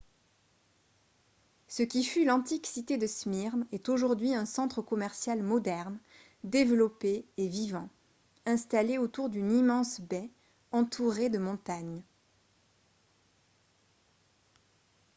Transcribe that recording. ce qui fut l'antique cité de smyrne est aujourd'hui un centre commercial moderne développé et vivant installé autour d'une immense baie entourée de montagnes